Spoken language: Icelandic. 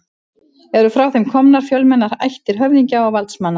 Eru frá þeim komnar fjölmennar ættir höfðingja og valdsmanna.